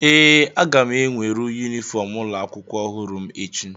ee, aga m enweru yunifọm ụlọ akwụkwọ ọhụrụ m echi